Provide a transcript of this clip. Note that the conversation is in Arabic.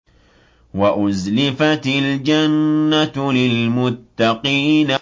وَأُزْلِفَتِ الْجَنَّةُ لِلْمُتَّقِينَ